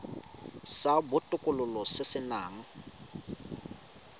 sa botokololo se se nang